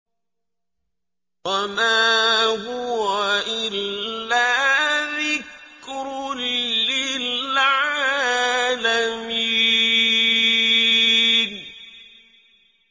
وَمَا هُوَ إِلَّا ذِكْرٌ لِّلْعَالَمِينَ